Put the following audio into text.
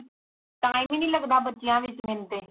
time ਹੀ ਨਹੀਂ ਲਗਦਾ ਬੱਚਿਆਂ ਵਿਚ ਮੈਨੂੰ ਤੇ